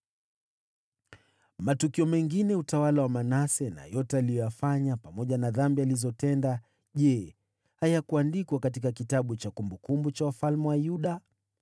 Matukio mengine ya utawala wa Manase, na yote aliyoyafanya, pamoja na dhambi alizotenda, je, hayakuandikwa katika kitabu cha kumbukumbu za wafalme wa Yuda?